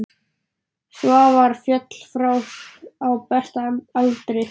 Svavar féll frá á besta aldri.